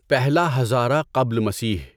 پہلا ہزاره قبل مسیح